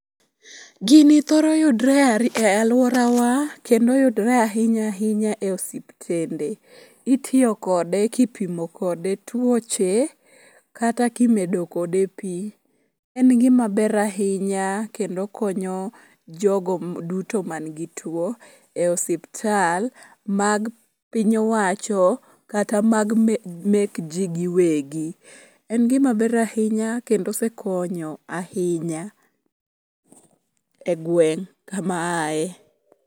Gini thoro yudore e alworawa kendo yudre ahinya ahinya e osuptende. Itiyo kode kipimo kode tuoche kata kimedo kode pi. En gimaber ahinya kendo konyo jogo duto manigi tuwo e osuptal mag piny owacho kata mag ji giwegi. En gimaber ahinya kendo osekonyo ahinya.